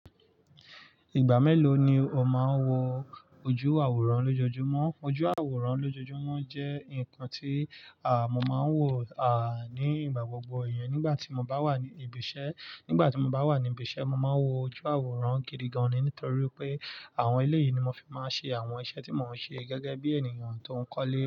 Ìgbà mélòó ni o máa ń wo ojú àwòrán lójoojúmọ́? Ojú àwòrán lójoojúmọ́ jẹ́ nǹkan tí, à, mo máa ń wò, à, nígbà gbogbo iyẹn nígbà tí mo bá wà ní ibi iṣẹ́. Nígbà tí mo bá wà ní ibi iṣẹ́, mo máa ń wo ojú àwòrán gidi gan-an nítorí pé àwọn ilé yìí ni mo fi máa ń ṣe àwọn iṣẹ́ tí mo ń ṣe gẹ́gẹ́ bí ènìyàn tó ń kọ́lé.